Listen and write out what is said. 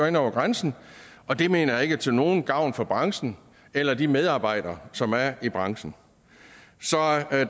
ind over grænsen og det mener jeg ikke er til nogen gavn for branchen eller de medarbejdere som er i branchen